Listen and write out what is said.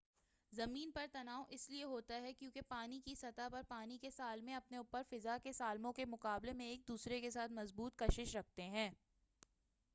زمین پر تناو اسلئے ہوتا ہے کیونکہ پانی کی سطح پر پانی کے سالمے اپنے اوپر فضا کے سالموں کے مقابلے میں ایک دوسرے کے ساتھ مضبوط کشش رکھتے ہیں